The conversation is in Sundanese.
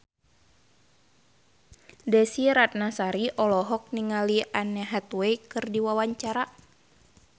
Desy Ratnasari olohok ningali Anne Hathaway keur diwawancara